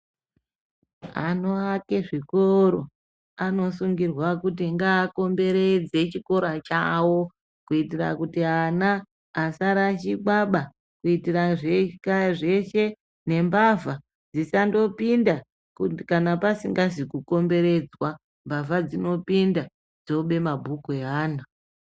Anoake zvikoro anokurudzirwa kuti ngaapoteredze chikora chawo kuitira kuti ana asarashika ba kuitira zveshe nembavha dzisangopinda kana pasingazi kukomberedzwa mbavha dzinopinda dzobe mabhuka eana.